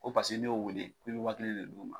Ko paseke n'i y'o wele k'i bɛ waa kelen de d'u ma.